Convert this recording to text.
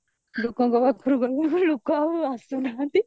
ଲୋକଙ୍କ ପାଖରୁ ଗଲାବେଳକୁ ଲୋକ ଆଉ ଆସୁନାହାନ୍ତି